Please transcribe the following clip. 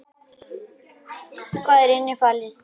Hvað er innifalið?